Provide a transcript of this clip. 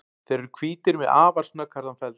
Þeir eru hvítir með afar snögghærðan feld.